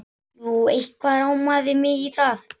Jú, eitthvað rámaði mig í það.